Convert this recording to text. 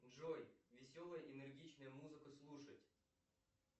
джой веселая энергичная музыка слушать